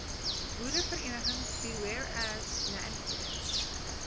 boereverenigings bewareas landcare